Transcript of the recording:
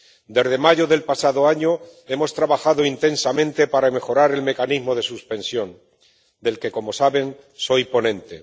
Desde mayo del pasado año hemos trabajado intensamente para mejorar el mecanismo de suspensión, de cuyo informe —como saben— soy ponente.